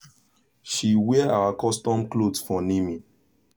she wear our custom cloth for naming